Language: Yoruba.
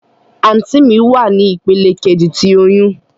Anti mi wa ni ipele keji ti oyun.